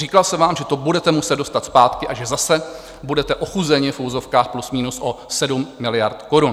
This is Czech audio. Říkal jsem vám, že to budete muset dostat zpátky a že zase budete ochuzeni v uvozovkách plus minus o 7 miliard korun.